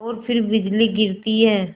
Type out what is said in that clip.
और फिर बिजली गिरती है